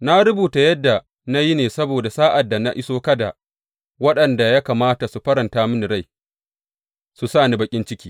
Na rubuta yadda na yi ne saboda sa’ad da na iso kada waɗanda ya kamata su faranta mini rai, su sa ni baƙin ciki.